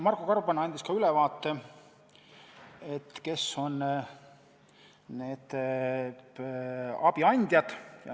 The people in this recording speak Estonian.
Marko Gorban andis ülevaate, kes on abiandjad.